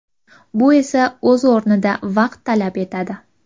Bu esa o‘z o‘rnida vaqt talab etadi.